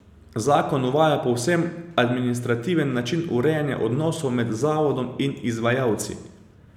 Zakon uvaja povsem administrativen način urejanja odnosov med Zavodom in izvajalci.